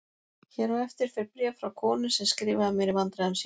Hér á eftir fer bréf frá konu sem skrifaði mér í vandræðum sínum